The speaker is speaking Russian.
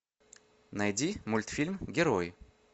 найди мультфильм герой